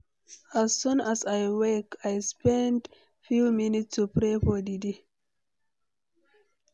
As soon as I wake, I spend few minutes to pray for the day.